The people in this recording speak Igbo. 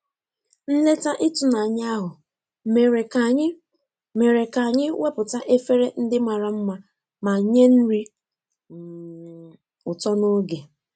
Nleta ịtụnanya ahụ mere ka anyị mere ka anyị wepụta efere ndị mara mma ma nye nri um ụtọ n'oge.